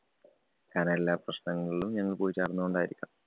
കാരണം എല്ലാ പ്രശ്നങ്ങളിലും ഞങ്ങള്‍ പോയി ചാടുന്നോണ്ടായിരിക്കാം.